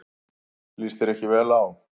Líst þér ekki vel á.